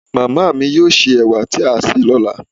màmá mi yóò sè ewà tí a sè lọ́la